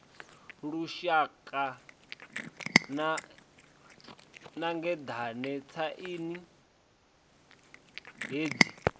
lunzhedzana sa ngeḓane tshaini hetshi